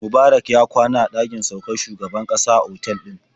Mubarak ya kwana a ɗakin saukar shugaban ƙasa na otal ɗin.